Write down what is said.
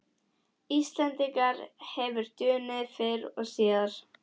Íslendinga hefur dunið fyrr og síðar.